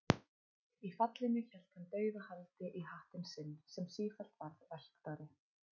Í fallinu hélt hann dauðahaldi í hattinn sinn, sem sífellt varð velktari.